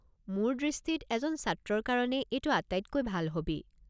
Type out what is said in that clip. মোৰ দৃষ্টিত এজন ছাত্ৰৰ কাৰণে এইটো আটাইতকৈ ভাল হ'বী।